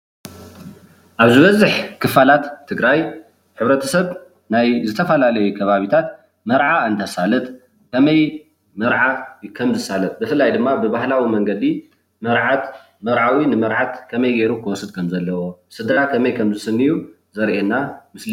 ኣብ ዝበዝሕ ክፋላት ትግራይ ሕብረተሰብ ናይ ዝተፈላለዩ ከባቢታት መርዓ እንትሳለጥ ብፍላይ ድማ ብባህላዊ መንገዲ መርዓት መርዓዊ ንመርዓት ከመይ ገይሩ ክወስዳ ከም ዘለዎ ስድራ ከመይ ከም ዝስንዩ ዘርእየና ምስሊ እዩ፡፡